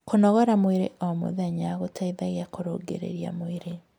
kũnogora mwĩrĩ o mũthenya gũteithagia kurungirirĩa mwĩrĩ